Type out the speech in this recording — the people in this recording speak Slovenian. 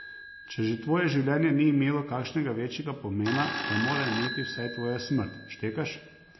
Če že tvoje življenje ni imelo kakšnega večjega pomena, ga mora imeti vsaj tvoja smrt, štekaš?